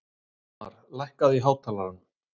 Ísmar, lækkaðu í hátalaranum.